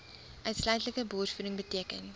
uitsluitlike borsvoeding beteken